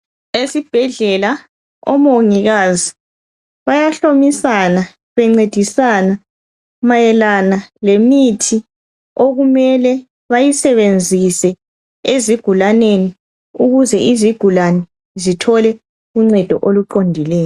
Esibhedlela omongikazi bayahlomisana bencedisana mayelana lemithi okumele bayisebenzise ezigulaneni ukuze izigulani zithole uncedo oluqondileyo.